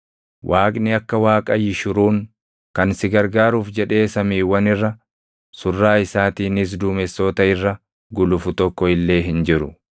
“Waaqni akka Waaqa Yishuruun, kan si gargaaruuf jedhee samiiwwan irra, surraa isaatiinis duumessoota irra gulufu tokko illee hin jiru.